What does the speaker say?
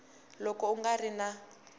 loko ku nga ri na